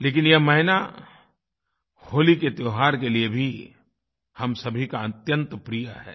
लेकिन यह महीना होली के त्योहार के लिए भी हम सभी का अत्यंत प्रिय है